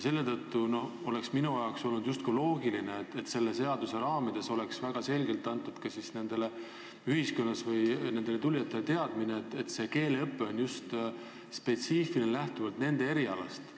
Seepärast olnuks minu arvates loogiline, kui selles seaduses oleks nendele tulijatele väga selgelt teada antud, et nende keeleõpe saab olema spetsiifiline, lähtudes nende erialast.